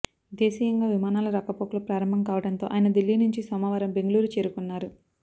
దేశీయంగా విమానాల రాకపోకలు ప్రారంభం కావడంతో ఆయన దిల్లీ నుంచి సోమవారం బెంగళూరు చేరుకున్నారు